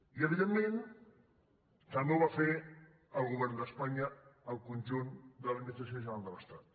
i evidentment també ho va fer el govern d’espanya al conjunt de l’admi·nistració general de l’estat